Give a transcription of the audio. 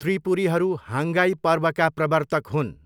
त्रिपुरीहरू हाङ्रगाई पर्वका प्रवर्तक हुन्।